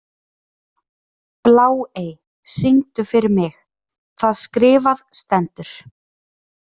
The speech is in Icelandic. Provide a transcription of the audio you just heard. Bláey, syngdu fyrir mig „Það skrifað stendur“.